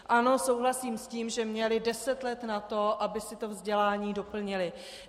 Ano, souhlasím s tím, že měli deset let na to, aby si to vzdělání doplnili.